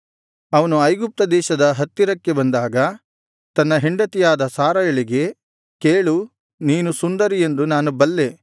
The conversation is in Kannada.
ಅವನು ಐಗುಪ್ತ ದೇಶದ ಹತ್ತಿರಕ್ಕೆ ಬಂದಾಗ ತನ್ನ ಹೆಂಡತಿಯಾದ ಸಾರಯಳಿಗೆ ಕೇಳು ನೀನು ಸುಂದರಿ ಎಂದು ನಾನು ಬಲ್ಲೆ